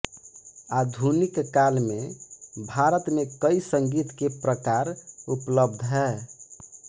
आधुनिक काल में भारत में कई संगीत के प्रकार उपलब्ध है